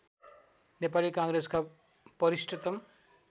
नेपाली काङ्ग्रेसका वरिष्ठतम